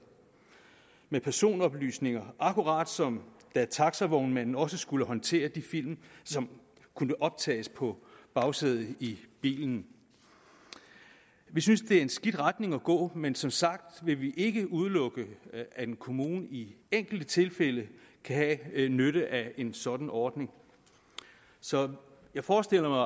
med personoplysninger akkurat som da taxavognmanden også skulle håndtere de film som kunne optages på bagsædet i bilen vi synes det er en skidt retning at gå men som sagt vil vi ikke udelukke at en kommune i enkelte tilfælde kan have nytte af en sådan ordning så jeg forestiller